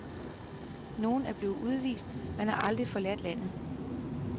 Nogle er blevet udvist, men har aldrig forladt landet.